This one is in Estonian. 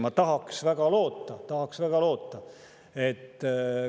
Ma tahaks väga loota – tahaks väga loota!